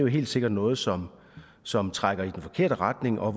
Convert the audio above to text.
helt sikkert noget som som trækker i den forkerte retning og